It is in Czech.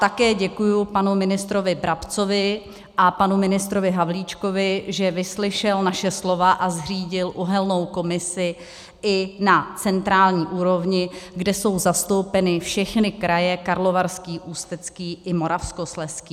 Také děkuji panu ministrovi Brabcovi a panu ministrovi Havlíčkovi, že vyslyšeli naše slova a zřídili uhelnou komisi i na centrální úrovni, kde jsou zastoupeny všechny kraje: Karlovarský, Ústecký i Moravskoslezský.